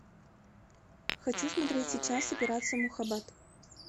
хочу смотреть сейчас операция мухаббат